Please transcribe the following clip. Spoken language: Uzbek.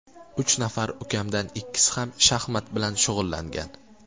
Uch nafar ukamdan ikkisi ham shaxmat bilan shug‘ullangan.